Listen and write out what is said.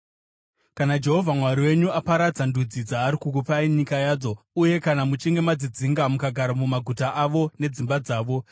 Kana Jehovha Mwari wenyu aparadza ndudzi dzaari kukupai nyika yadzo, uye kana muchinge madzidzinga mukagara mumaguta avo nedzimba dzavo,